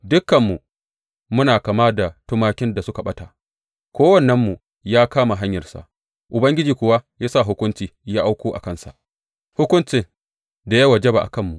Dukanmu, muna kama da tumakin da suka ɓata, kowannenmu ya kama hanyarsa; Ubangiji kuwa ya sa hukunci ya auko a kansa hukuncin da ya wajaba a kanmu.